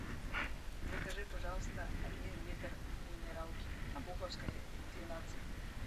закажи пожалуйста один литр минералки обуховской двенадцать